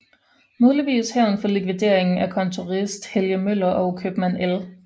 Muligvis hævn for likvideringen af kontorist Helge Møller og købmand L